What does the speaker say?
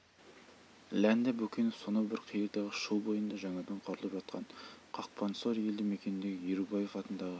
ләнде бөкенов сонау бір қиырдағы шу бойында жаңадан құрылып жатқан қақпансор елді мекеніндегі ерубаев атындағы